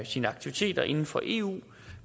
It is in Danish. sine aktiviteter inden for eu